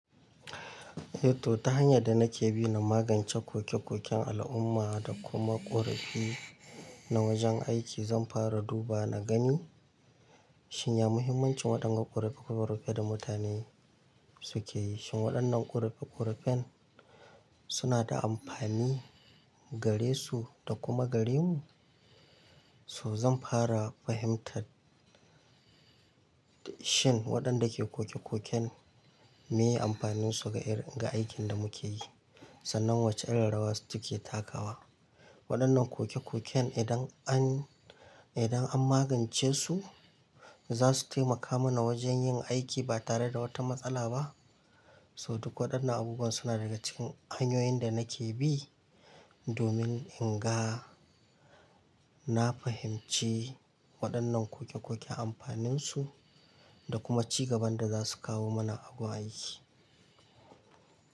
Eh to ta hanyar da nake bi na magance koke-koken al'umma da kuma ƙorafi na wajen aiki, zan fara duba na gani shin ya muhimmancin waɗannan ƙorafe-ƙorafe da mutane suke yi. Shin waɗannan ƙorafe-ƙorafen suna da amfani gare su da kuma gare mu? So zan fara fahimtar shin waɗanda ke koke-koken meye amfanin su ga irin ga aikin da muke yi. Sannan wace irin rawa suke takawa. Waɗannan koke-koken idan an, idan an magance su, za su taimaka mana wajen yin aiki ba tare da wata matsala ba. So duk waɗannan abubuwa suna daga cikin hanyoyin da nake bi domin in ga, na fahimci waɗannan koke-koke amfanin su da kuma ci gaban da za su kawo mana a gun aiki.